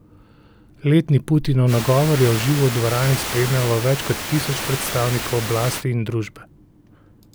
Letni Putinov nagovor je v živo v dvorani spremljalo več kot tisoč predstavnikov oblasti in družbe.